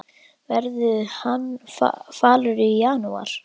Verður hann falur í janúar?